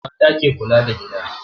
Mata ke kula da gida